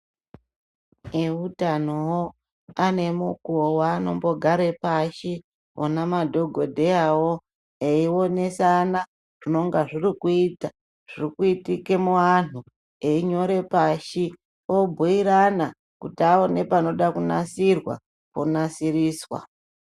Eutano voo anemukuvo vaanombogare pashi ona madhogodheyavo, eionesana zvinonga zvirikuita zvirikuitike muantu. Einyore pashi obhuirana kuti aone panoda kunatirwa ponasiriswa.